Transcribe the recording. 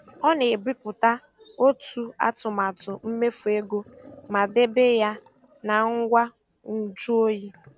Ọ na-ebipụta otu atụmatụ mmefu ego ma debe ya na ngwa nju oyi.